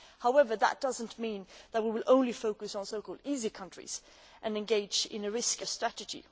However, that does not mean that we will only focus on so called easy countries and engage in a risk averse strategy.